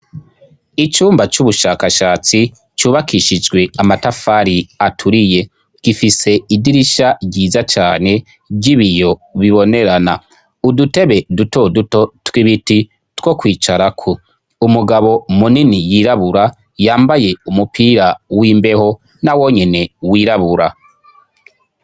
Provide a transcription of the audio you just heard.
Icumba c'ubushakashatsi cubakishijwe amatafari aturiye, gifise idirisha ryiza cane ry'ibiyo bibonerana. Udutebe duto duto tw'ibiti two kwicarako. Umugabo munini yirabura yambaye umupira w'imbeho na wonyene wirabura.